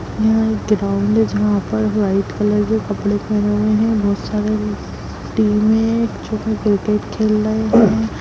यहाँ एक ग्राउंड है जहाँ पर व्हाइट कलर के कपड़े पहने हुए है बोहत सारे टीम है क्रिकेट खेल रहे है।